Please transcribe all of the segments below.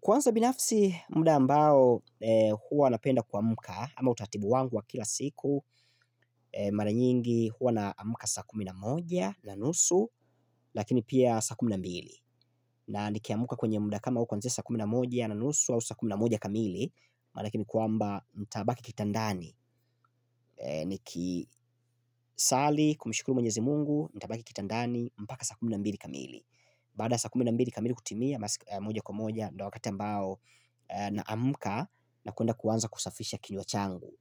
Kwanza binafsi muda ambao huwa napenda kuamka ama utaratibu wangu wa kila siku mara nyingi huwa naamka saa kumi na moja na unusu lakini pia saa kumi na mbili na nikiamuka kwenye muda kama huu kuanzia sa kumi na moja na nusu au sa kumi na moja kamili maana yake ni kwamba nitabaki kitandani Niki swali, kumshukuru mwenyezi mungu nitabaki kitandani, mpaka saa kumi na mbili kamili Baada ya saa kumi na mbili kamili kutimia moja kwa moja, ndio wakati ambao naamka, na kuenda kuanza kusafisha kinywa changu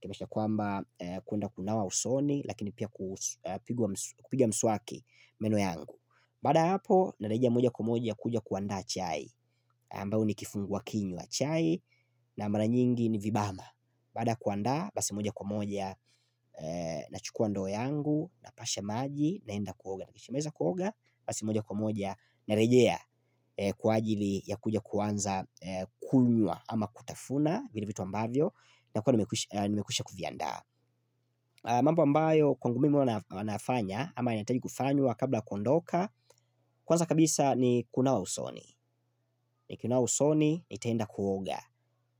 Kimesha kwamba kuenda kunawa usoni Lakini pia kupiga mswaki meno yangu Baada ya hapo, narejea moja kwa moja kuja kuandaa chai ambayo ni kifungua kinywa chai na mara nyingi ni vibala Baada kuandaa, basi moja kwa moja, nachukua ndoo yangu, napasha maji, naenda kuoga kishamaliza kuoga, basi moja kwa moja, narejea kwa ajili ya kuja kuanza kunywa ama kutafuna vile vitu ambavyo, nakua nimekwisha kuviandaa mambo ambayo, kwangu mimi ua nafanya, ama nahitaji kufanya kabla ya kuondoka Kwanza kabisa ni kunawa usoni, nikinawa usoni, nitaenda kuoga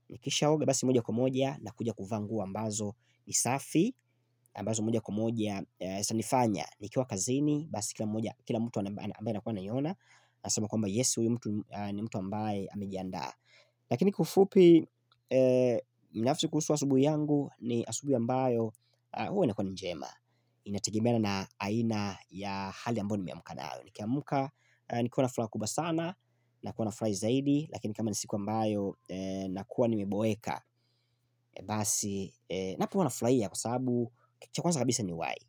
Nikisha oga basi moja kwa moja nakuja kuvaa nguo ambazo ni safi ambazo moja kwa moja zinifanya Nikiwa kazini basi kila mtu ambaye anakua anaiona anasema kwamba yes huyu mtu ambaye amejiandaa Lakini kwa ufupi nafsi kuhusu asubuhi yangu ni asubuhi ambayo huwa inakua ni njema Inategemeana na aina ya hali amboyo nimeamka nayo. Nikiamka nikiwa na furaha kubwa sana Nakua nafurai zaidi Lakini kama ni siku ambayo Nakua nimiboeka. Basi Napo hua nafurahia kwa sababu kitu cha kwanza kabisa ni uhai.